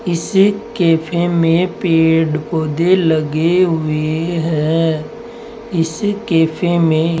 इस कैफे में पेड़ पौधे लगे हुए हैं इस कैफे में --